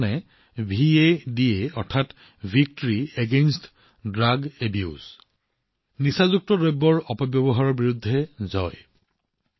ভাদা মানে ড্ৰাগছ অপব্যৱহাৰৰ বিৰুদ্ধে বিজয়